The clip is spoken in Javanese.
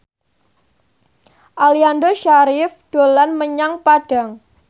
Aliando Syarif dolan menyang Padang